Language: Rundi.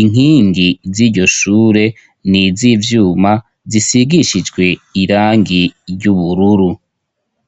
,inkingi z'iryo shure ,niz'ivyuma ,zisigishijwe irangi ry'ubururu.